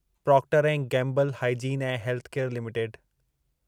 Procter ऐं Gamble hygiene ऐं health care limited